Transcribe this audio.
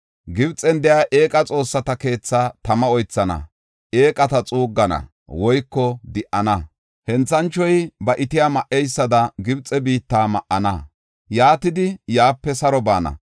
Gibxen de7iya eeqa xoossata keethaa tama oythana; eeqata xuuggana woyko di77ana. Henthanchoy ba itiya ma7eysada, Gibxe biitta ma7ana. Yaatidi, yaape saro baana.